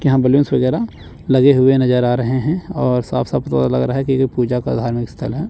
यहा वगैरा लगे हुए नजर आ रहे हैं और साफ साफ लग रहा है की पूजा का धार्मिक स्थल है।